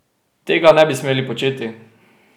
Tega ne bi smeli početi!